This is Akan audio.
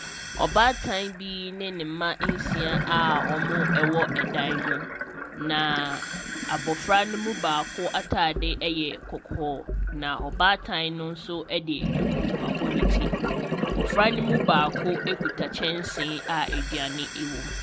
Ɔbaatan bi ne ne mma nsia a wɔwɔ dan bi mu. Na abofra no mu baako ataade yɛ kɔkɔɔ. Na ɔbaatan no nso de duku abɔ ne ti. Abofra no mu baako kita kyɛnsee a aduane wɔ mu.